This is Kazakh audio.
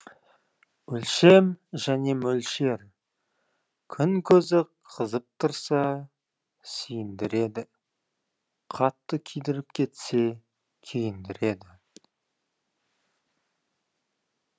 өлшем және мөлшер күн көзі қызып тұрса сүйіндіреді қатты күйдіріп кетсе күйіндіреді